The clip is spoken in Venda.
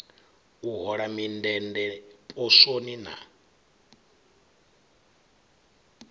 u hola mindende poswoni na